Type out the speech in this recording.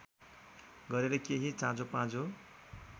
गरेर केही चाँजोपाँजो